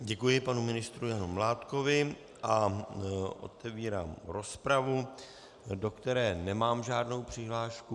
Děkuji panu ministru Janu Mládkovi a otevírám rozpravu, do které nemám žádnou přihlášku.